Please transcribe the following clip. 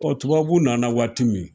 tubabuw nana waati min